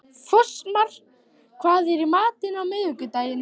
Fossmar, hvað er í matinn á miðvikudaginn?